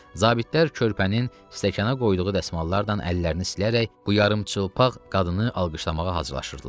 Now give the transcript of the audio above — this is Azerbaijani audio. Zabitlər körpənin stəkana qoyduğu dəsmallardan əllərini silərək bu yarımçıplaq qadını alqışlamağa hazırlaşırdılar.